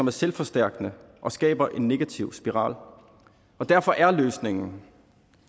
er selvforstærkende og skaber en negativ spiral derfor er løsningen